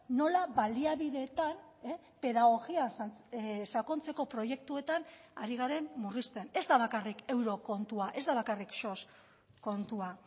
nola baliabideetan pedagogia sakontzeko proiektuetan ari garen murrizten ez da bakarrik euro kontua ez da bakarrik sos kontua